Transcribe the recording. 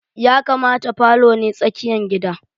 Ya kamata falo ne tsakiyan gidan.